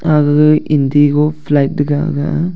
agaga Indigo flight taga ga a.